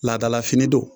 Laadalafini don